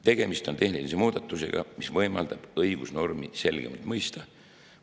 Tegemist on tehnilise muudatusega, mis võimaldab õigusnormi selgemalt mõista.